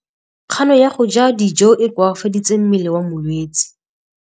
Kganô ya go ja dijo e koafaditse mmele wa molwetse.